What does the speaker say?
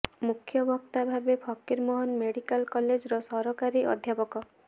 ମୁଖ୍ୟ ବକ୍ତା ଭାବେ ଫକୀରମୋହନ ମେଡିକାଲ କଲେଜର ସହକାରୀ ପ୍ରାଧ୍ୟାପକ ଡା